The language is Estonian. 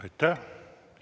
Aitäh!